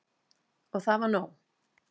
Og það var nóg.